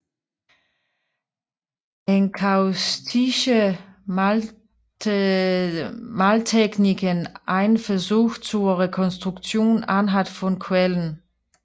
Enkaustische Maltechniken Ein Versuch zur Rekonstruktion anhand von Quellen